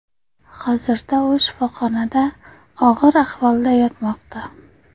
Hozirda u shifoxonada og‘ir ahvolda yotmoqda.